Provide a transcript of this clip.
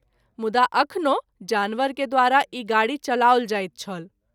मुदा अखनो जानवरे के द्वारा ई गाड़ी चलाओल जाइत छल।